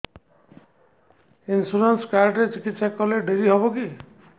insurance card ରେ ଚିକିତ୍ସା କଲେ ଡେରି ହବକି